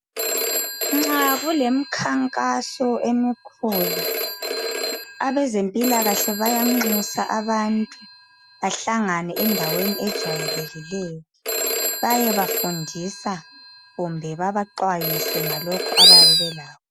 Nxa kulemkhankaso emikhulu, abezempilakahle bayanxusa abantu bahlangane endaweni ejwayelekileyo bayebafundisa kumbe babaxwayise ngalokhu abayabe belakho.